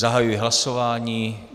Zahajuji hlasování.